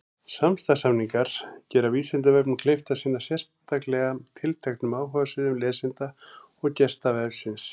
Samstarfssamningar gera Vísindavefnum kleift að sinna sérstaklega tilteknum áhugasviðum lesenda og gesta vefsins.